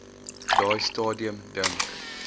daai stadium dink